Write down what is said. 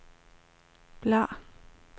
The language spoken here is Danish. bladr